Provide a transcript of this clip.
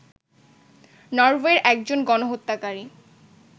নরওয়ের একজন গণহত্যাকারী